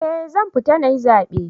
Eh, zan fita nayi zabe.